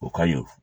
O ka ɲi